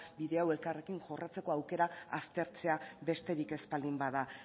bide hau elkarrekin jorratzeko aukera aztertzea besterik ez baldin bada